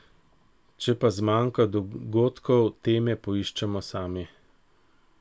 Če pa zmanjka dogodkov, teme poiščemo sami.